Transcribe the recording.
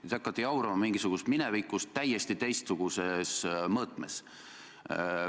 Te hakkate jaurama mingisugusest minevikust täiesti teistsuguses mõõtmes.